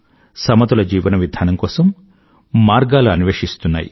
సమతుల జీవన విధానం కోసం మార్గాలు అన్వేషిస్తున్నారు